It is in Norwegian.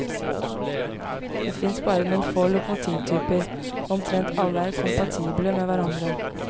Det finnes bare noen få lokomotivtyper, og omtrent alle er kompatible med hverandre.